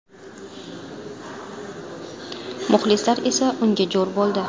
Muxlislar esa unga jo‘r bo‘ldi.